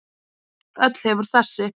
Öll hefur þessi